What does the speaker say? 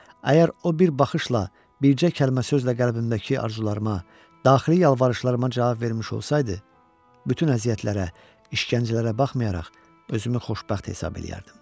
Əgər o bir baxışla, bircə kəlmə sözlə qəlbimdəki arzularıma, daxili yalvarışlarıma cavab vermiş olsaydı, bütün əziyyətlərə, işgəncələrə baxmayaraq özümü xoşbəxt hesab eləyərdim.